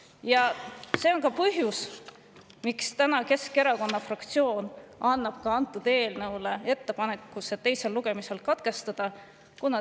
Ja see on ka põhjus, miks Keskerakonna fraktsioon teeb täna ettepaneku eelnõu teine lugemine katkestada.